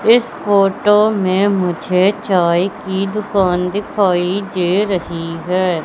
इस फोटो में मुझे चाय की दुकान दिखाई दे रही है।